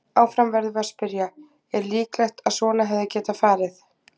Áfram verðum við að spyrja: Er líklegt að svona hefði getað farið?